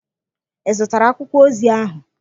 Ị zụtara akwụkwọ ozi ahụ?